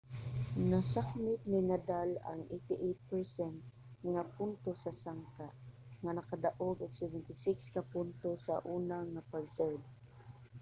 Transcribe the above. nasakmit ni nadal ang 88% nga puntos sa sangka nga nakadaog og 76 ka puntos sa una nga pag-serve